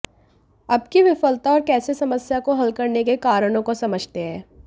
अब की विफलता और कैसे समस्या को हल करने के कारणों को समझते हैं